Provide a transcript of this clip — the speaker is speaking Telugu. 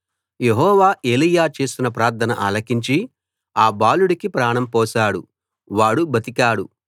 యెహోవా ఏలీయా చేసిన ప్రార్థన ఆలకించి ఆ బాలుడికి ప్రాణం పోశాడు వాడు బతికాడు